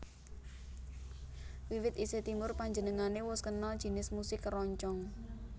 Wiwit isih timur panjenengané wus kenal jinis musik keroncong